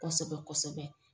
Kɔsɛbɛ-kɔsɛbɛ